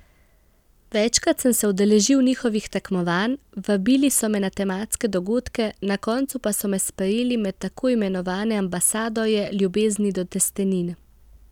Večkrat sem se udeležil njihovih tekmovanj, vabili so me na tematske dogodke, na koncu pa so me sprejeli med tako imenovane ambasadorje ljubezni do testenin.